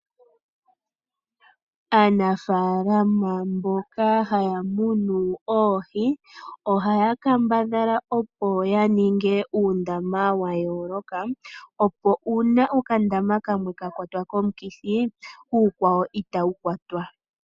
Aanafaalama mboka haya munu oohi ohaya kambadhala opo ya ninge uundama wa yooloka. Opo uuna okandama kamwe ka kwatwa komukithi uukwawo itawu kwatwa.